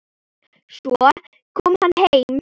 Svo kom hann heim.